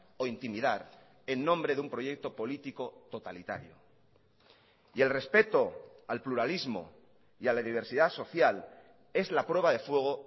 o intimidar en nombre de un proyecto político totalitario y el respeto al pluralismo y a la diversidad social es la prueba de fuego